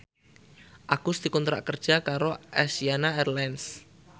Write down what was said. Agus dikontrak kerja karo Asiana Airlines